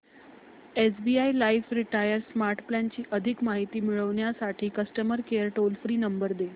SBI life retire smart plan ची अधिक माहिती मिळविण्यासाठी customer care toll free number दे